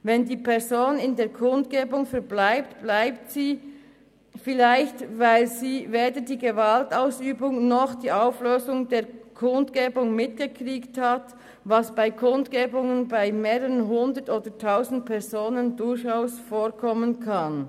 Wenn die Person an der Kundgebung verbleibt, bleibt sie vielleicht, weil sie weder die Gewaltausübung noch die Auflösung der Kundgebung mitgekriegt hat, was bei Kundebungen mit mehreren Hundert oder Tausend Personen durchaus vorkommen kann.